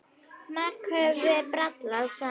Margt höfum við brallað saman.